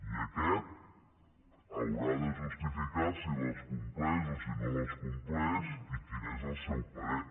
i aquest haurà de justificar si les compleix o si no les compleix i quin és el seu parer